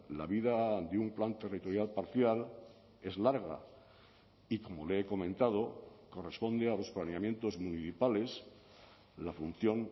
la vida de un plan territorial parcial es larga y como le he comentado corresponde a los planeamientos municipales la función